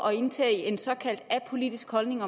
indtage en såkaldt apolitisk holdning